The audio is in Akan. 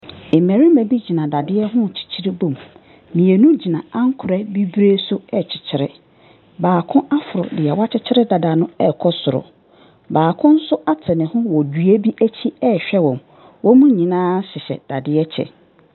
Ɛmbɛrima bi gyina dadeɛ ho kyekyeree bom. Mienu gyina ankwerɛ bebree so ɛkyekyere. Baako aforo deɛ wakyekere dadaa no ɛkɔ soro. Baako so ate ne ho wɔ dua bi ekyi ɛhwɛ ɔmo. Ɔmo nyinaa hyɛ dadeɛ kyɛ.